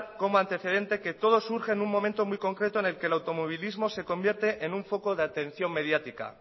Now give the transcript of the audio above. como antecedente que todo surge en un momento concreto en el que el automovilismo se convierte en un foco de atención mediática